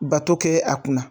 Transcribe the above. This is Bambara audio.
Bato kɛ a kunna.